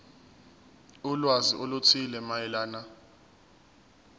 ulwazi oluthile mayelana